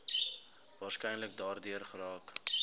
waarskynlik daardeur geraak